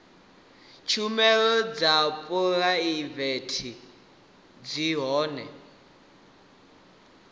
tshumelo dza phuraivete zwi hone